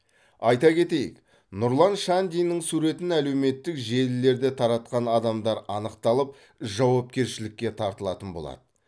айта кетейік нұрлан шандиннің суретін әлеуметтік желілерде таратқан адамдар анықталып жауапкершілікке тартылатын болады